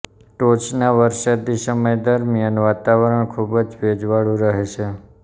ટોચના વરસાદી સમય દરમિયાન વાતાવરણ ખુબ જ ભેજવાળું રહે છે